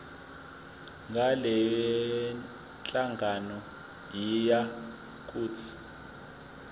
ngalenhlangano yiya kut